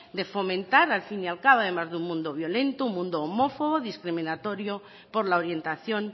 de fomentar al fin y al cabo además de un mundo violento un mundo homófobo discriminatorio por la orientación